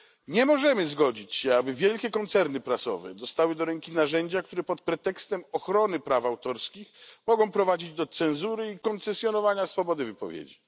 Nie możemy zgodzić się, aby wielkie koncerny prasowe dostały do ręki narzędzia, które pod pretekstem ochrony praw autorskich mogą prowadzić do cenzury i koncesjonowania swobody wypowiedzi.